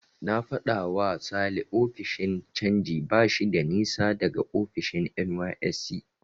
Na faɗawa Sale ofishin canji bashi da nisa daga ofishin NYSC.